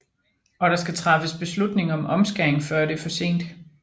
Og der skal træffes beslutning om omskæring før det er for sent